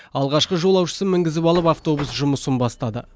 алғашқы жолаушысын мінгізіп алып автобус жұмысын бастады